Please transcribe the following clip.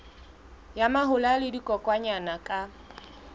ya mahola le dikokwanyana ka